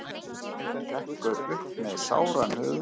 Hrekkur upp með sáran höfuðverk.